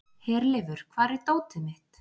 Herleifur, hvar er dótið mitt?